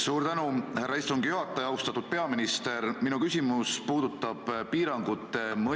Sloveenia on öelnud, et üle 100 osalejaga kogunemised keelustatakse, sealne elanike arv on natuke üle 2 miljoni.